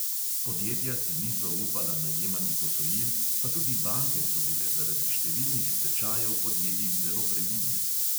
Podjetja si niso upala najemati posojil, pa tudi banke so bile zaradi številnih stečajev podjetij zelo previdne.